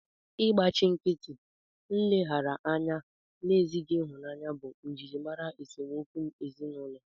Ịgbachi nkịtị, nleghara anya na ezighị ịhụnanya bụ njirimara esemokwu ezinụlọ